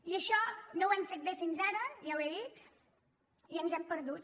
i això no ho hem fet bé fins ara ja ho he dit i ens hem perdut